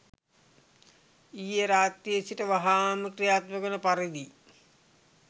ඊයේ රාත්‍රියේ සිට වහාම ක්‍රියාත්මක වන පරිදි